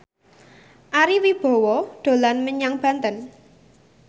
Ari Wibowo dolan menyang Banten